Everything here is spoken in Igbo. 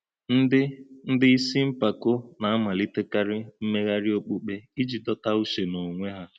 Ndị Ndị isi mpako na-amalitekarị mmegharị okpukpe iji dọta uche n’onwe ha.